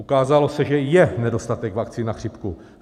Ukázalo se, že je nedostatek vakcín na chřipku.